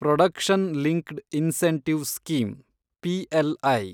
production linked incentive scheme , PLI